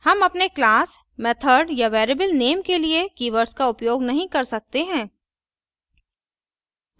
हम अपने class method या variable नेम के लिए keywords का उपयोग नहीं कर सकते हैं